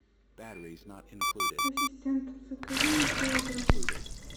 ассистент закажи мне килограмм